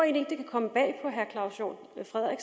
punkt to